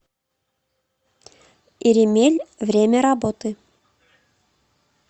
иремель время работы